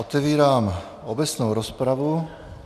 Otevírám obecnou rozpravu.